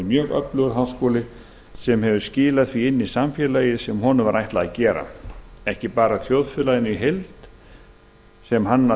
mjög öflugur háskóli sem hefur skilað því inn í samfélagið sem honum var ætlað að gera ekki bara til þjóðfélagsins í heild sem hann að